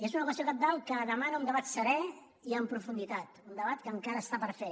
és una qüestió cabdal que demana un debat serè i amb profunditat un debat que encara està per fer